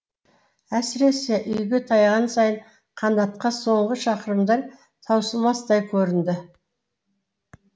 әсіресе үйге таяған сайын қанатқа соңғы шақырымдар таусылмастай көрінді